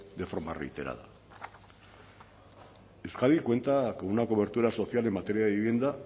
de forma reiterada euskadi cuenta con una cobertura social en materia de vivienda